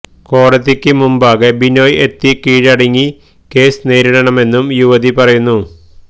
കോടതിയ്ക്ക് മുമ്പാകെ ബിനോയ് എത്തി കീഴടങ്ങി കേസ് നേരിടണമെന്നും യുവതി പറയുന്നു